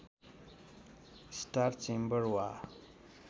star chamber वा